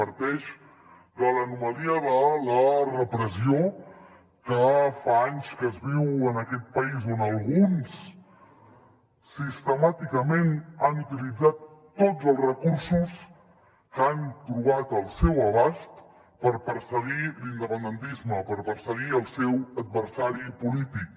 parteix de l’anomalia de la repressió que fa anys que es viu en aquest país on alguns sistemàticament han utilitzat tots els recursos que han trobat al seu abast per perseguir l’independentisme per perseguir el seu adversari polític